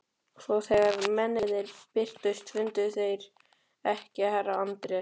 Svo þegar mennirnir birtust fundu þeir ekki herra Anders